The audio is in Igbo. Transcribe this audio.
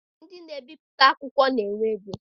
Ndị na ebipụta akwụkwọ na-enwe ego.